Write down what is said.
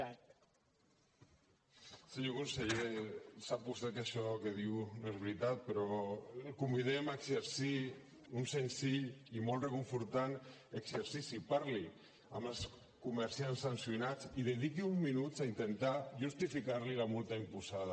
senyor conseller sap vostè que això que diu no és veritat però el convidem a exercir un senzill i molt reconfortant exercici parli amb els comerciants sancionats i dediqui uns minuts a intentar justificar los la multa imposada